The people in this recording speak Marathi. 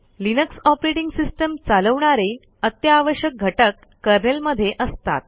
लिनक्स ऑपरेटिंग सिस्टम चालवणारे अत्यावश्यक घटक कर्नेल मधे असतात